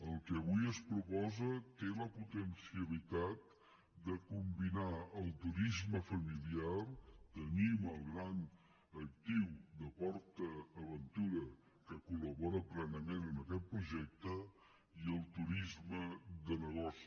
el que avui es proposa té la potencialitat de combinar el turisme familiar tenim el gran actiu de port aventura que collabora plenament en aquest projecte i el turisme de negoci